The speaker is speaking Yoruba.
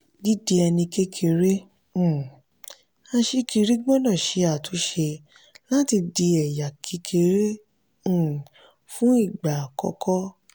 dídi ẹni kékeré um aṣíkiri gbọ́dọ̀ ṣe àtúnṣe láti di ẹ̀yà kékeré um fún ìgbà àkọ́kọ́.